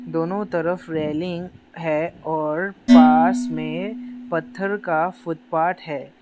दोनों तरफ रेलिंग है और पास में पत्थर का फुटपाथ है।